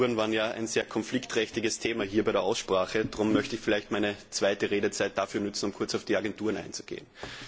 Die Agenturen waren ja ein sehr konfliktträchtiges Thema in dieser Aussprache, darum möchte ich vielleicht meine zweite Redezeit dafür nutzen, um kurz auf die Agenturen einzugehen.